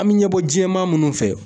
An bɛ ɲɛbɔ jɛman minnu fɛ